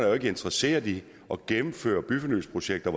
er interesseret i at gennemføre byfornyelsesprojekter